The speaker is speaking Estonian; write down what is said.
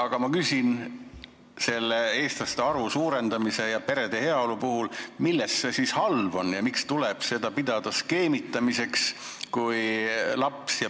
Aga ma küsin eestlaste arvu suurendamise ja perede heaolu mõttes: milleks see siis halb on ja miks tuleb seda pidada skeemitamiseks?